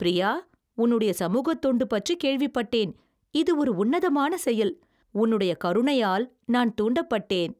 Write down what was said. பிரியா, உன்னுடைய சமூகத் தொண்டு பற்றி கேள்விப்பட்டேன். இது ஒரு உன்னதமான செயல், உன்னுடைய கருணையால் நான் தூண்டப்பட்டேன்.